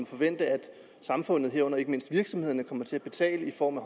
forvente at samfundet herunder ikke mindst virksomhederne kommer til at betale i form af